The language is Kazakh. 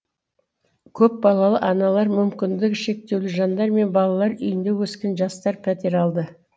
көпбалалы аналар мүмкіндігі шектеулі жандар мен балалар үйінде өскен жастар пәтер алды